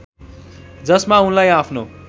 जसमा उनलाई आफ्नो